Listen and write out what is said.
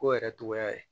Ko yɛrɛ togoya ye